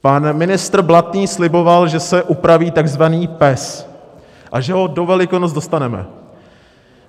Pan ministr Blatný sliboval, že se upraví takzvaný PES a že ho do Velikonoc dostaneme.